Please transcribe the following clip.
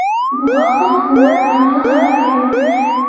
Bu haqda hukumat portali xabar bermoqda .